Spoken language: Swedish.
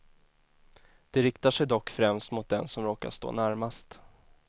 De riktar sig dock främst mot den som råkar stå närmast.